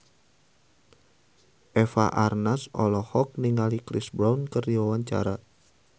Eva Arnaz olohok ningali Chris Brown keur diwawancara